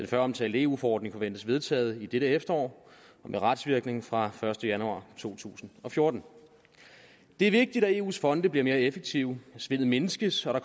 føromtalte eu forordning forventes vedtaget i dette efterår med retsvirkning fra første januar to tusind og fjorten det er vigtigt at eus fonde bliver mere effektive at svindet mindskes og at